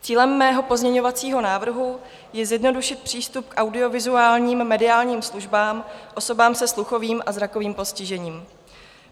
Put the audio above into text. Cílem mého pozměňovacího návrhu je zjednodušit přístup k audiovizuálním mediálním službám osobám se sluchovým a zrakovým postižením.